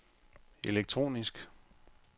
elektronisk